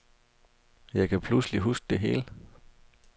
Jeg kan pludselig huske det hele.